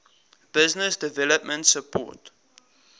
business development support